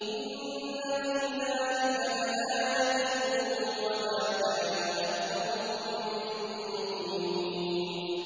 إِنَّ فِي ذَٰلِكَ لَآيَةً ۖ وَمَا كَانَ أَكْثَرُهُم مُّؤْمِنِينَ